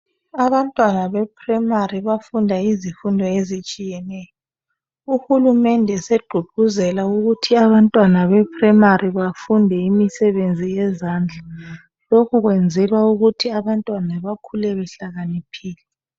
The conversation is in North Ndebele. Abantwana be primarily bafunda izifundo ezitshiyeneyo, uhulumende segqugquzela ukuthi abantwana be primarily bafunde imisebenzi yezandla, lokhu kwenzelwa ukuthi abantwana bakhule behlakaniphile.